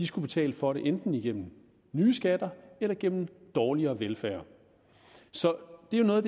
skulle betale for det enten igennem nye skatter eller gennem dårligere velfærd så det er